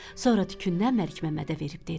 Sonra tükündən Məlik Məmmədə verib dedi.